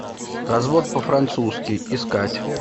развод по французски искать